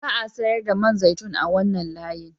Ba a sayar da man zaitun a wannan layin